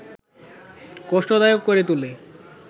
কষ্টদায়ক করে তোলে